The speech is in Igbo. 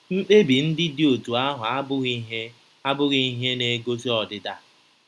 Mkpebi ndị dị otú ahụ abụghị ihe abụghị ihe na-egosi ọdịda.